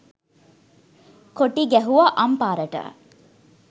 කොටි ගැහුවා අම්පාරට